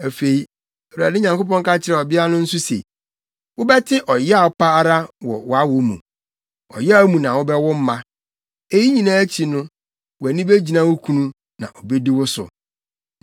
Afei, Awurade Nyankopɔn ka kyerɛɛ ɔbea no nso se, “Wobɛte ɔyaw pa ara wɔ wʼawo mu; ɔyaw mu na wobɛwo mma. Eyi nyinaa akyi no, wʼani begyina wo kunu na obedi wo so.”